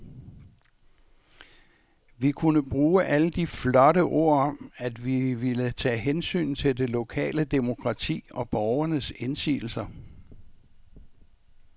Vi kunne bruge alle de flotte ord om, at vi ville tage hensyn til det lokale demokrati og borgernes indsigelser.